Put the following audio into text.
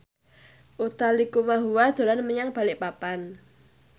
Utha Likumahua dolan menyang Balikpapan